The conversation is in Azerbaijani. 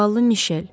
Zavallı Mişel.